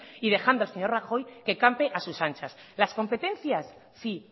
y dejando al señor rajoy que campe a sus anchas las competencias sí